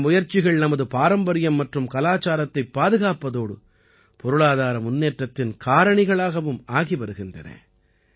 இந்த முயற்சிகள் நமது பாரம்பரியம் மற்றும் கலாச்சாரத்தைப் பாதுகாப்பதோடு பொருளாதார முன்னேற்றத்தின் காரணிகளாகவும் ஆகி வருகின்றன